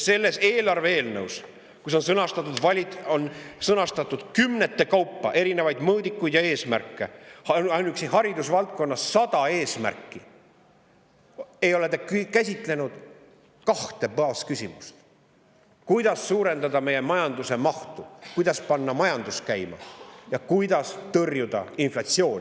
Selles eelarve eelnõus, kus on sõnastatud kümnete kaupa erinevaid mõõdikuid ja eesmärke – ainuüksi haridusvaldkonnas on 100 eesmärki –, ei ole te käsitlenud kahte baasküsimust: kuidas suurendada meie majanduse mahtu ehk kuidas panna majandus käima ning kuidas tõrjuda inflatsiooni.